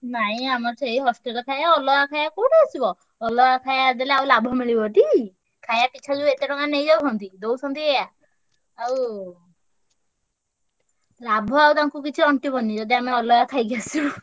ନାଇଁ ଆମର ସେଇ hostel ଖାୟା ଅଲଗା ଖାୟା କୋଉଠୁ ଆସିବ? ଅଲଗା ଖାୟା ଦେଲେ ଆଉ ଲାଭ ମିଳିବ ଟି। ଖାୟା ପିଛା ଯୋଉ ଏତେ ଟଙ୍କା ନେଇଯାଉଛନ୍ତି ଦଉଛନ୍ତି ଏୟା ଆଉ ଲାଭ ଆଉ ତାଙ୍କୁ କିଛି ଅଣ୍ଟିବନି ଯଦି ଆମେ ଅଲଗା ଖାଇକି ଆସିବୁ।